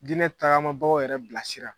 Diinɛ taagamabagaw yɛrɛ bilasira.